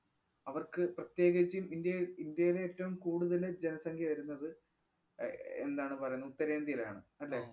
അവർക്ക് പ്രത്യേകിച്ചും ഇന്ത്യയിൽ ഇന്ത്യയിലേറ്റവും കൂടുതല് ജനസംഖ്യ വരുന്നത് അഹ് എന്താണ് പറേന്നെ ഉത്തരേന്ത്യയിലാണ് അല്ലേ?